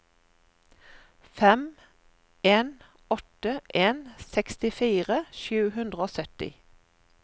fem en åtte en sekstifire sju hundre og sytti